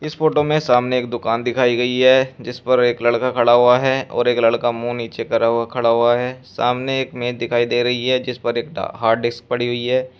इस फोटो में सामने एक दुकान दिखाई गई है जिस पर एक लड़का खड़ा हुआ है और एक लड़का मुंह नीचे करा हुआ खड़ा हुआ है सामने एक मेज दिखाई दे रही है जिस पर एक हार्ड डिस्क पड़ी हुई है।